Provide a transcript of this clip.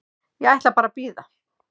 Ég ætla bara að bíða.